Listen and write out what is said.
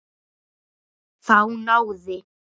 Þá náði